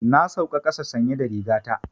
Na sauka ƙasa sanye da riga ta.